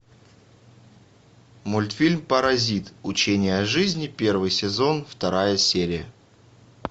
мультфильм паразит учение о жизни первый сезон вторая серия